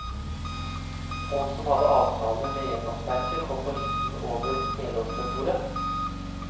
Folk som hadde avtale med renholdsverket, kom på listen over helårsbeboere.